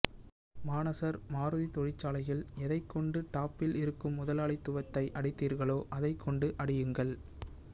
மானசர் மாருதி தொழிற்சாலையில் எதைக்கொண்டு டாப்பில் இருக்கும் முதலாளித்துவத்தை அடித்தீர்களோ அதைக்கொண்டு அடியுங்கள்